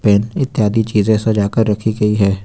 इत्यादि चीजें सजा कर रखी गई है।